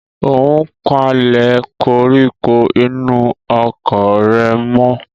Ó ń palẹ̀ koríko inú oko rẹ̀ mọ́.